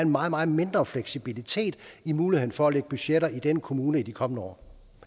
meget meget mindre fleksibilitet i muligheden for at lægge budgetter i den kommune i de kommende år